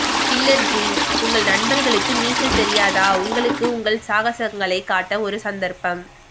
killer ji உங்கள் நண்பர்களுக்கு நீச்சல் தெரியாதா உங்களுக்கு உங்கள் சாகசங்களைக் காட்ட ஒரு சந்தர்ப்பம்